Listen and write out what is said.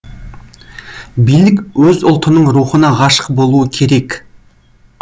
билік өз ұлтының рухына ғашық болуы керек